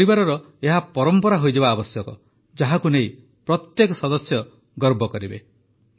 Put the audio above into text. ଆମ ପରିବାରର ଏହା ପରମ୍ପରା ହୋଇଯିବା ଆବଶ୍ୟକ ଯାହାକୁ ନେଇ ପ୍ରତ୍ୟେକ ସଦସ୍ୟ ଗର୍ବ କରିବେ